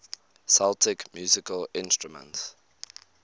celtic musical instruments